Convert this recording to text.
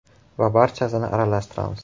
Va barchasini aralashtiramiz.